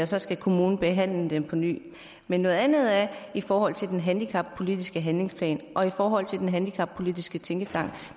så skal kommunen behandle den på ny men noget andet er i forhold til den handicappolitiske handlingsplan og i forhold til den handicappolitiske tænketank